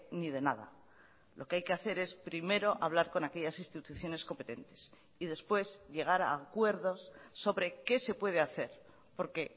ni de nada lo que hay que hacer es primero hablar con aquellas instituciones competentes y después llegar a acuerdos sobre qué se puede hacer porque